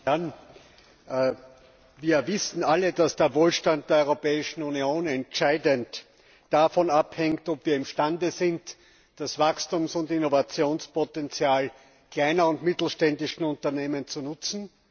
Herr Präsident! Wir wissen alle, dass der Wohlstand der Europäischen Union entscheidend davon abhängt, ob wir imstande sind, das Wachstums und Innovationspotenzial kleiner und mittelständischer Unternehmen zu nutzen.